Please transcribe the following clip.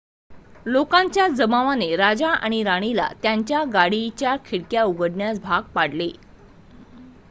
लोकांच्या जमावाने राजा आणि राणीला त्यांच्या गाडीच्या खिडक्या उघडण्यास भाग पाडले